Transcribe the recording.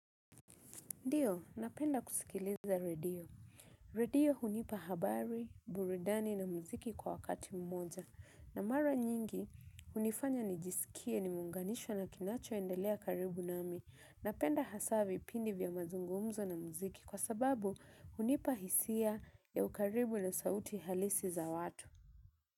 Ndio, napenda kusikiliza redio. Redio hunipa habari, buridani na muziki kwa wakati mmoja. Na mara nyingi, hunifanya nijisikie nimeunganishwa na kinachoendelea karibu nami. Napenda hasa vipindi vya mazungumzo na muziki kwa sababu hunipa hisia ya ukaribu na sauti halisi za watu.